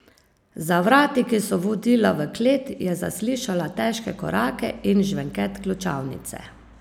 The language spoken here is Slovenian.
Za vrati, ki so vodila v klet, je zaslišala težke korake in žvenket ključavnice.